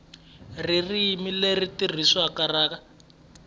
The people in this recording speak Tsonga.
ririmi leri tirhisiwaka ra